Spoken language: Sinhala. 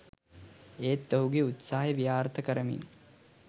ඒත් ඔහුගේ උත්සහය ව්‍යාර්ථ කරමින්